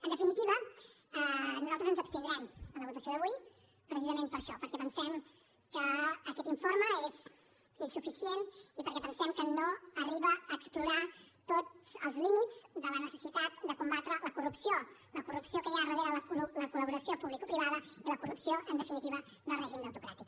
en definitiva nosaltres ens abstindrem en la votació d’avui precisament per això perquè pensem que aquest informe és insuficient i perquè pensem que no arriba a explorar tots els límits de la necessitat de combatre la corrupció la corrupció que hi ha darrere la col·laboració publicoprivada i la corrupció en definitiva del règim deutocràtic